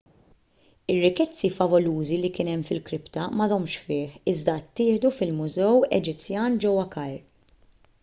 ir-rikkezzi favolużi li kien hemm fil-kripta m'għadhomx fih iżda ttieħdu fil-mużew eġizzjan ġewwa kajr